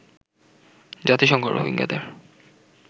জাতিসংঘ রোহিঙ্গাদের